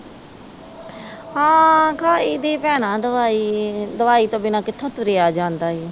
ਹਾਂ ਖਾਈ ਦੀ ਭੈਣਾਂ ਦਵਾਈ, ਦਵਾਈ ਤੋਂ ਬਿਨ੍ਹਾਂ ਕਿੱਥੋਂ ਤੁਰਿਆ ਜਾਂਦਾ ਈ।